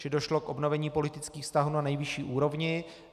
Čili došlo k obnovení politických vztahů na nejvyšší úrovni.